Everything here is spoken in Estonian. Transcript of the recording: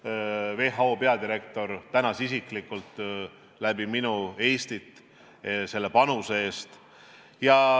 WHO peadirektor tänas isiklikult minu kaudu Eestit selle panuse eest.